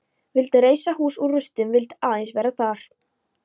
Vildi reisa hús úr rústum, vildi aðeins vera þar.